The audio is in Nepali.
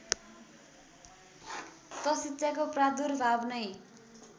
त शिक्षाको प्रादुर्भाव नै